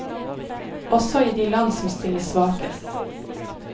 Også i de land som stiller svakest.